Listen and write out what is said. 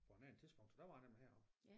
På en anden tidspunkt så der var jeg nemlig heroppe